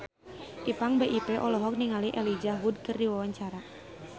Ipank BIP olohok ningali Elijah Wood keur diwawancara